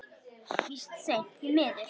Víst seint, því miður.